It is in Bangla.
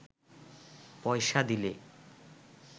পয়সা দিলে